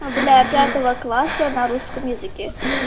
для пятого класса на русском языке